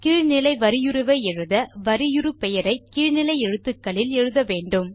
கீழ் நிலை வரியுருவை எழுத வரியுரு பெயரை கீழ் நிலை எழுத்துக்களில் எழுத வேண்டும்